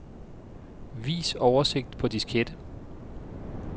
Vis oversigt på diskette.